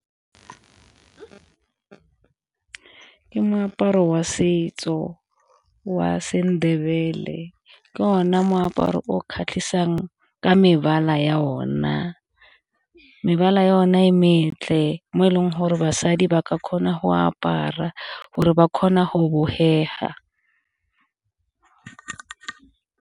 Ke moaparo wa setso wa seNdebele ke ona moaparo o kgatlhisang ka mebala ya ona, mebala ya ona e mo e leng gore basadi ba ka kgona go apara gore ba kgona go .